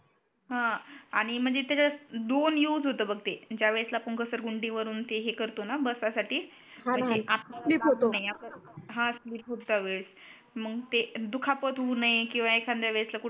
हा आणि म्हणजे त्याचात दोन यूज होतो बग ते ज्या वेळेसला आपण घसरगुंडी वरुण ते हे करतो णा बसा साठी ते हा णा हा णा ते आपले नाही आपले स्लीप होतो हा स्लीप होता वेळेस मग ते दुखापत होऊ नये किवा एखाद्या वेळेसला कुठ